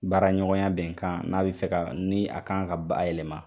Baara ɲɔgɔnya bɛn kan n'a bɛ fɛ ka ni a kan ka bay yɛlɛma